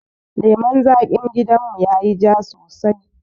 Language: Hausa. Lemun zaƙin gidan mu yayi ja sosai